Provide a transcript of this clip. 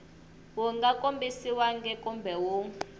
wu nga kombisiwangi kumbe wu